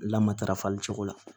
Lamatara fali cogo la